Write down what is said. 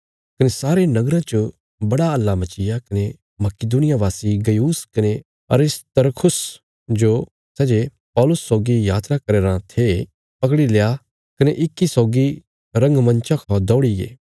कने सारे नगरा च बड़ा हल्ला मचीग्या कने मकिदुनिया वासी गयुस कने अरिस्तर्खुस जो सै जे पौलुसा सौगी यात्रा करया राँ थे पकड़ी लया कने इक्की सौगी रंगमंचा खौ दौड़ीगे